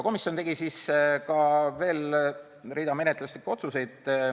Komisjon tegi ka menetluslikud otsused.